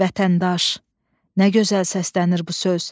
Vətəndaş, nə gözəl səslənir bu söz.